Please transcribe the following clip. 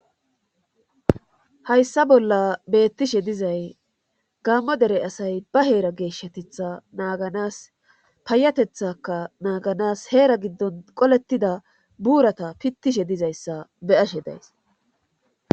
Hayssa bolla beettishe dizay gammo dere asay ba heera geeshshatetha naaganas payatethaka naaganas heera giddon qoletida buurata pittishe dizayssa beyashe days.